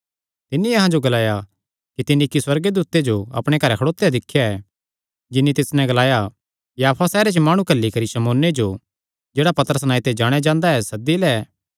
तिन्नी अहां जो ग्लाया कि तिन्नी इक्की सुअर्गदूते जो अपणे घरैं खड़ोत्या दिख्या जिन्नी तिस नैं ग्लाया याफा सैहरे च माणु घल्ली करी शमौने जो जेह्ड़ा पतरस नांऐ ते जाणेयां जांदा ऐ सद्दी लै